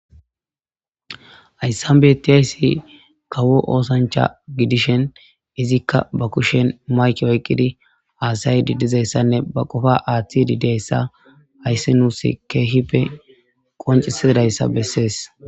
Hayssan betizayssi kawo ossancha gidishin ezzika ba kushen maykke oykidi hassaydi dizayssa ba qofa athide dizayssa qonciseses